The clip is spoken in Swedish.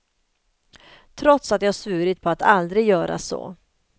Trots att jag svurit på att aldrig göra så.